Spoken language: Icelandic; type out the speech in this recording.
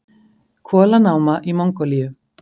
Kolanáma í Mongólíu.